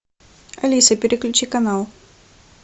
алиса переключи канал